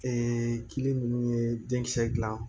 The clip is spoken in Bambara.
kili ninnu ye denkisɛ dilan